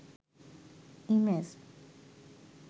image